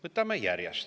Võtame järjest.